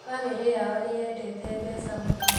Bamĩrĩ yao nĩyendete mbeca mũno